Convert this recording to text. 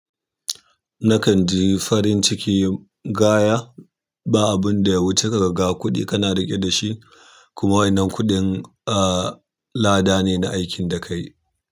Nakan ji farin ciki gaya, ba abun da ya wuce kaga kuɗi kana riƙe da shi, kuma wannan kuɗin, ah, lada ne na aikin da ka yi.